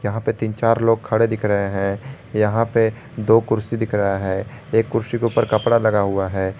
यहां पर तीन चार लोग खड़े दिख रहे हैं यहां पे दो कुर्सी दिख रहा है एक कुर्सी के ऊपर कपड़ा लगा हुआ है।